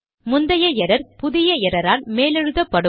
முந்தைய எரர் புதிய எரர் ஆல் மேலெழுதப்படும்